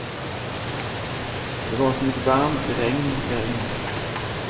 Det var som ett varmt regn därinne.